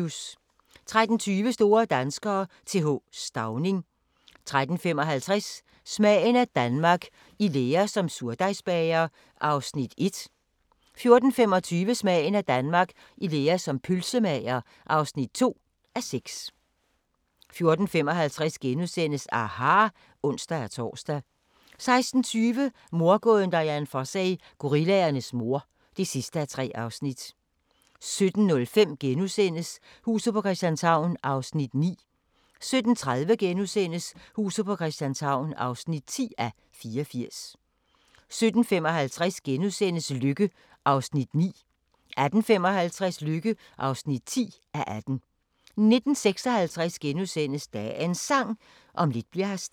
13:20: Store danskere - Th. Stauning 13:55: Smagen af Danmark – I lære som surdejsbager (1:6) 14:25: Smagen af Danmark – i lære som pølsemager (2:6) 14:55: aHA! *(ons-tor) 16:20: Mordgåden Dian Fossey - gorillaernes mor (3:3) 17:05: Huset på Christianshavn (9:84)* 17:30: Huset på Christianshavn (10:84)* 17:55: Lykke (9:18)* 18:55: Lykke (10:18) 19:56: Dagens Sang: Om lidt bli'r her stille *